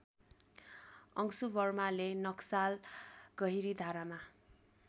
अंशुवर्माको नक्साल गहिरीधारामा